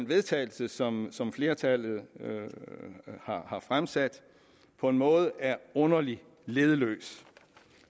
vedtagelse som som flertallet har fremsat på en måde er underlig leddeløs